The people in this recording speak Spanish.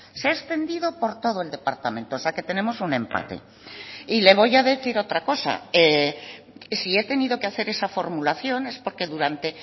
se ha extendido por todo el departamento o sea que tenemos un empate y le voy a decir otra cosa si he tenido que hacer esa formulación es porque durante